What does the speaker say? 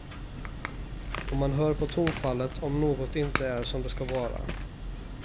Och man hör på tonfallet om något inte är som det ska vara.